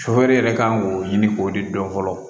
yɛrɛ kan k'o ɲini k'o de dɔn fɔlɔ